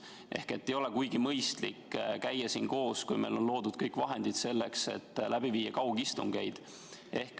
Ehk ei ole kuigi mõistlik käia siin koos, kui meil on loodud kõik vahendid selleks, et läbi viia kaugistungeid.